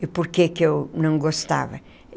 E por que que eu não gostava?